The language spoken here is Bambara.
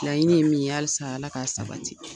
Laɲini ye min ye halisa ala k'a sabati